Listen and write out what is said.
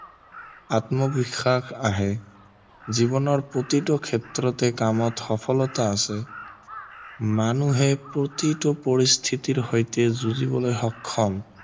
আত্মবিশ্বাস আহে জীৱনৰ প্ৰতিটো ক্ষেত্ৰতেই কামত সফলতা আছে মানুহে প্ৰতিটো পৰিস্থিতিৰ সৈতে যুঁজিবলৈ সক্ষম